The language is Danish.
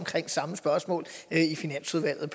samme spørgsmål i finansudvalget